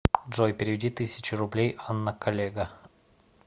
джой переведи тысячу рублей анна коллега